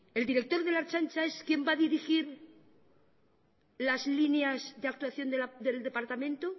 el director de la ertzaintza es quién va a dirigir las líneas de actuación deldepartamento